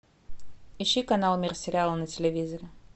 ищи канал мир сериала на телевизоре